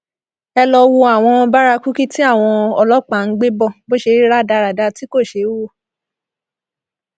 ẹ lọọ wo àwọn bárakúkí tí àwọn ọlọpàá ń gbé bó ṣe rí rádaràda tí kò ṣeé wò